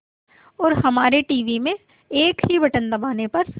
और हमारे टीवी में एक ही बटन दबाने पर